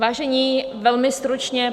Vážení, velmi stručně.